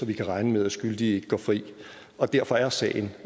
vi kan regne med at skyldige ikke går fri derfor er sagen